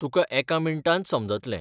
तुका एका मिनटांत समजतलें.